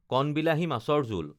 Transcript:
কণবিলাহী, মাছৰ জোল